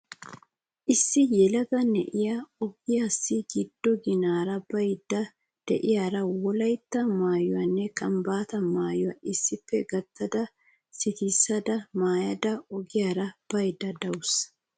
Issi yelaga na'iyaa ogiyaassi giddo ginaara baydda de'iyaara wolytta maayuwaanne kambbaata maayuwaa issippe gaattada sikissada maada ogiyaara baydda dawusu .